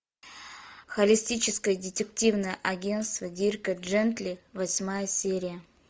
холистическое детективное агентство дирка джентли восьмая серия